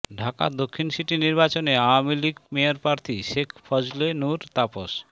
ঢাকা দক্ষিণ সিটি নির্বাচনে আওয়ামী লীগ মেয়রপ্রার্থী শেখ ফজলে নূর তাপস